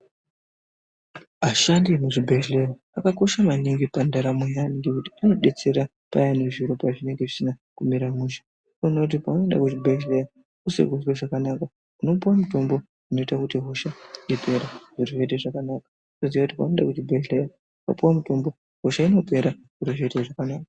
Vashandi vemuzvibhedhlera zvakakosha maningi pandaramo yevantu ngekuti vanodetserq payani zviro pazvinenge zvisina kumira mushe ,unotoona kuti paunoenda kuzvibhedhlera usiri kuzwe zvakanaka unopiwa mutombo unoita kuti hosha ipere zviro zviite zvakanaka . Unoziya kuti paunoende kuzvibhedhlera unopiwa mutombo hosha inopera zviro zviite zvakanaka.